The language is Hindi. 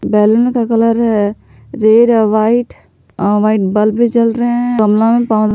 बैलून का कलर है रेड व्हाइट व्हाइट बल्ब भी जल रहे हैं गमला में--